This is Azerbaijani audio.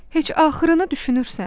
Heç axırını düşünürsən?